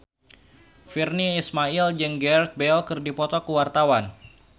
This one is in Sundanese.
Virnie Ismail jeung Gareth Bale keur dipoto ku wartawan